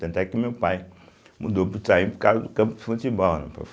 Tanto é que meu pai mudou para o Itaim por causa do campo de futebol, né?